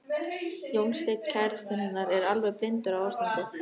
Jónsteinn kærastinn hennar er alveg blindur á ástandið.